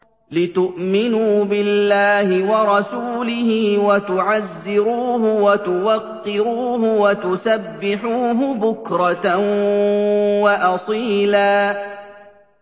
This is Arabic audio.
لِّتُؤْمِنُوا بِاللَّهِ وَرَسُولِهِ وَتُعَزِّرُوهُ وَتُوَقِّرُوهُ وَتُسَبِّحُوهُ بُكْرَةً وَأَصِيلًا